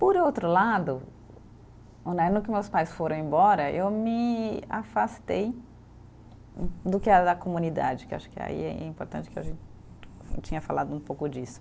Por outro lado né, no ano que meus pais foram embora, eu me afastei um, do que era da comunidade, que acho que aí é importante que a gente tinha falado um pouco disso.